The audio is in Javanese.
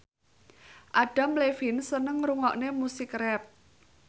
Adam Levine seneng ngrungokne musik rap